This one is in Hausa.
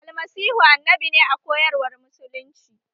Almasihu annabi ne a koyar war musulunci